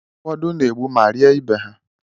Ụfọdụ n'egbu ma rie ibe ha.